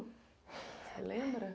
Você lembra?